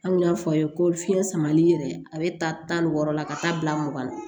An kun y'a fɔ a ye ko fiɲɛ samali yɛrɛ a bɛ taa tan ni wɔɔrɔ la ka taa bila mugan na